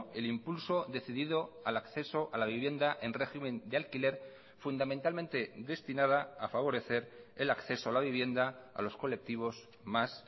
el impulso decidido al acceso a la vivienda en régimen de alquiler fundamentalmente destinada a favorecer el acceso a la vivienda a los colectivos más